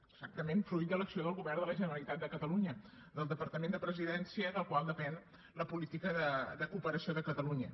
exactament fruit de l’acció del govern de la generalitat de catalunya del departament de presidència del qual depèn la política de cooperació de catalunya